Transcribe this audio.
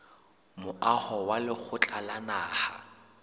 moaho wa lekgotla la naha